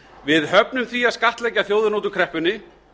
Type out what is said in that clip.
við höfum því að skattleggja þjóðina út úr kreppunni